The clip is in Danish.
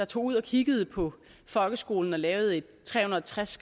tog ud og kiggede på folkeskolen og lavede et tre hundrede og tres